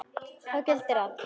Þá gildir að